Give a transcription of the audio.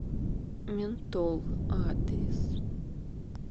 ментол адрес